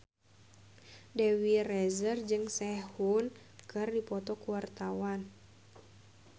Dewi Rezer jeung Sehun keur dipoto ku wartawan